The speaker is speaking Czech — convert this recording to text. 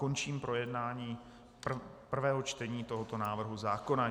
Končím projednávání prvého čtení tohoto návrhu zákona.